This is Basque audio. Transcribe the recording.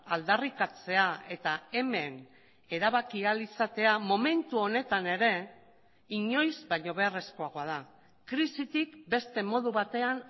aldarrikatzea eta hemen erabaki ahal izatea momentu honetan ere inoiz baino beharrezkoagoa da krisitik beste modu batean